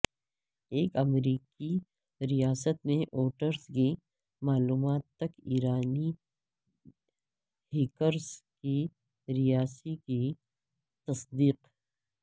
ایک امریکی ریاست میں ووٹرز کی معلومات تک ایرانی ہیکرز کی رسائی کی تصدیق